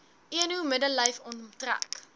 eno middellyf omtrek